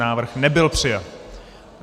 Návrh nebyl přijat.